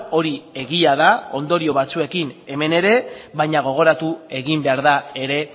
hori egia da ondorio batzuekin hemen ere baina gogoratu egin behar da ere